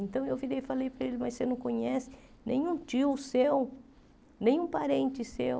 Então, eu virei e falei para ele, mas você não conhece nenhum tio seu, nenhum parente seu?